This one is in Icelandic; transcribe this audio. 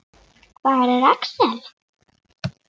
Hvar er Axel?